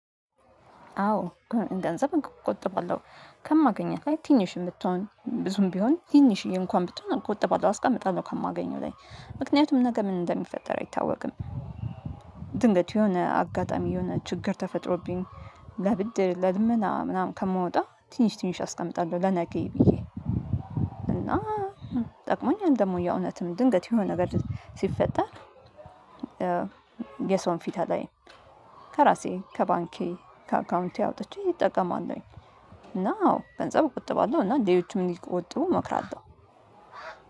አዎ ገንዘብ እንቆጥባለሁ። ከማገኛት ላይ ትንሽም ብትሆን ብዙም ቢሆን ትንሽዬ እንኳን ብትሆን እቆጥባለሁ አስቀመጣለሁ ከማገኘው ላይ። ምክንያቱም ነገ ምን እንደሚፈጠር አይታወቅም። ድንገት የሆነ አጋጣሚ የሆነ ችግር ተፈጥሮብኝ ለብድር ለልመና ምናምን ከምወጣ ትንሽ ትንሽ አስቀምጣለሁ ለነገ ብዬ። እና ጠቅሞኛል ደግሞ የእውነትም ድንገት የሆነ ነገር ሲፈጠር የሰውን ፊት አላይም። ከራሴ ከባንኬ ከአካውንቴ አወጥቼ እጠቀማለሁኝ። እና አዎ ገንዘብ እቆጥባለሁ እና ሌሎችም እንዲቆጥቡ እመክራለሁ።